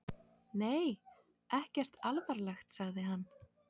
Nei, ekkert alvarlegt, sagði hann.